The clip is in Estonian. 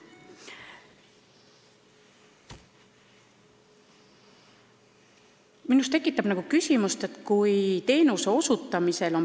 Minus tekitab küsimuse järgmine asi.